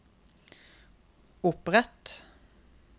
opprett